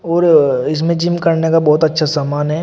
और इसमें जिम करने का बहोत अच्छा सामान है।